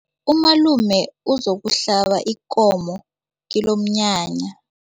Umalume uzokuhlaba ikomo kilomnyanya.